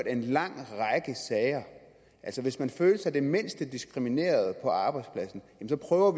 en lang række sager altså hvis man føler sig det mindste diskrimineret på arbejdspladsen så prøver